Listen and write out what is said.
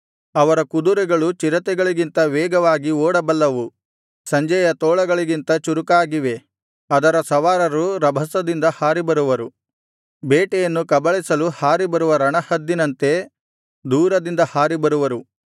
ಅವರ ಕುದುರೆಗಳು ಚಿರತೆಗಳಿಗಿಂತ ವೇಗವಾಗಿ ಓಡಬಲ್ಲವು ಸಂಜೆಯ ತೋಳಗಳಿಗಿಂತ ಚುರುಕಾಗಿವೆ ಅದರ ಸವಾರರು ರಭಸದಿಂದ ಹಾರಿಬರುವರು ಬೇಟೆಯನ್ನು ಕಬಳಿಸಲು ಹಾರಿ ಬರುವ ರಣಹದ್ದಿನಂತೆ ದೂರದಿಂದ ಹಾರಿಬರುವರು